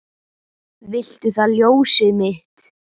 Viltu það ljósið mitt?